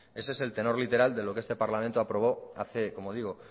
ese es el tenor literal de lo que este parlamento aprobó hace como digo